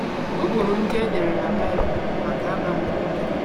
Ụkpụrụ ndị e dere na Baịbụl bụ maka abamuru gị.